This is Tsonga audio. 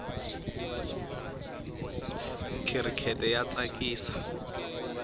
khirikete ya tsakisa